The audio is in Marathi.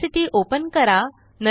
ऑड्यासिटीओपन करा